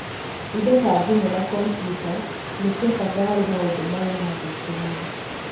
Indo ta thimũ na kompiuta nĩ cia bata harĩ maũndũ maya ma gwĩkenia.